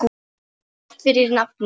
Takk fyrir nafnið.